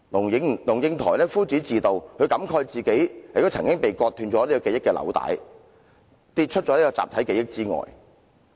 龍應台夫子自道，她感慨自己的記憶紐帶亦曾經被割斷，跌出了集體記憶之外。